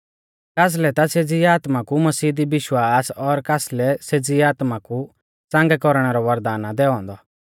कासलै ता सेज़ी आत्मा कु मसीह दी विश्वास और कासलै सेज़ी आत्मा कु च़ांगै कौरणै रौ वरदान आ दैऔ औन्दौ